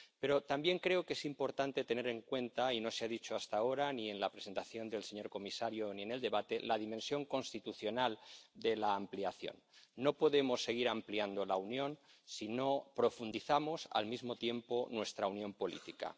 Pero también creo que es importante tener en cuenta ―y no se ha dicho hasta ahora, ni en la presentación del señor comisario, ni en el debate― la dimensión constitucional de la ampliación. No podemos seguir ampliando la Unión si no profundizamos al mismo tiempo nuestra unión política.